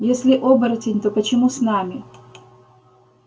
если оборотень то почему с нами